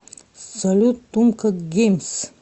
салют тумка геймс